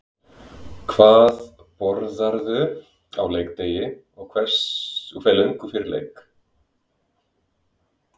Hvað borðarðu á leikdegi og hve löngu fyrir leik?